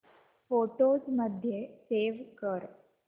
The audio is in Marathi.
फोटोझ मध्ये सेव्ह कर